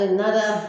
A nada